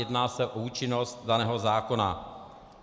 Jedná se o účinnost daného zákona.